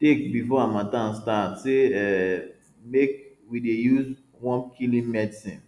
take before harmattan start say um make we dey use wormkilling medicine